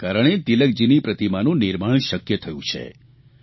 જેના કારણે તિલકજીની પ્રતિમાનું નિર્માણ શક્ય થયું છે